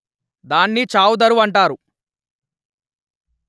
దాని చావు దరువు అంటారు